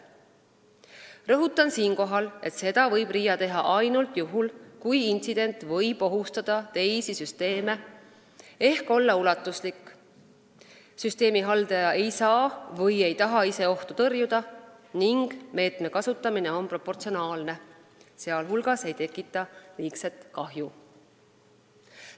Rõhutan siinkohal, et seda saab RIA teha ainult juhul, kui intsident võib ohustada teisi süsteeme ehk olla ulatuslik, süsteemihaldaja ei saa või ei taha ise ohtu tõrjuda ning meetme kasutamine on proportsionaalne ega tekita liigset kahju.